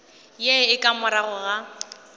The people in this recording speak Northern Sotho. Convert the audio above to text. ye e ka morago ga